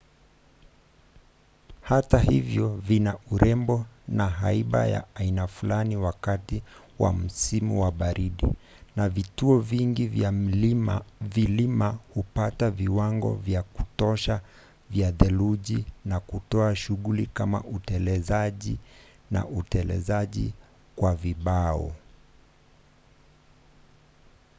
hata hivyo vina urembo na haiba ya aina fulani wakati wa msimu wa baridi na vituo vingi vya vilima hupata viwango vya kutosha vya theluji na kutoa shughuli kama utelezaji na utelezaji kwa vibao